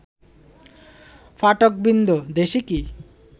পাঠকবৃন্দ, দেশে কি